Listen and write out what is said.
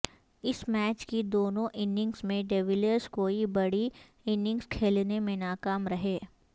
اس match کی دونوں innings میں ڈی ویلیئرز کوئی بڑی اننگز کھیلنے میں ناکام رہے